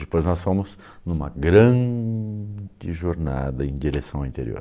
Depois nós fomos em uma grande jornada em direção ao interior.